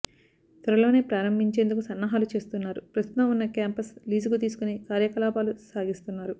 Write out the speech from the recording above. త్వరలోనే ప్రారంభించేందుకు సన్నాహాలు చేస్తున్నారు ప్రస్తుతం ఉన్న క్యాంపస్ లీజుకు తీసుకుని కార్యకలాపాలు సాగిస్తున్నారు